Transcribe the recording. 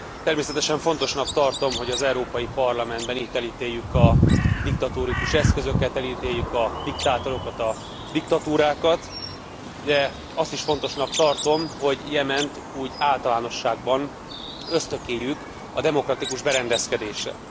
Természetesen fontosnak tartom, hogy az Európai Parlamentben, itt elítéljük a diktatórikus eszközöket, elítéljük a diktátorokat, a diktatúrákat, de azt is fontosnak tartom, hogy Jement úgy általánosságban ösztökéljük a demokratikus berendezkedésre.